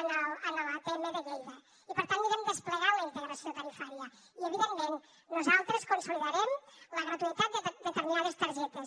en l’atm de lleida i per tant anirem desplegant la integració tarifària i evidentment nosaltres consolidarem la gratuïtat de determinades targetes